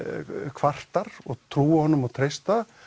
kvartar og trúa honum og treysta